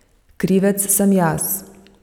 Krivec sem jaz.